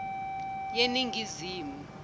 yeningizimu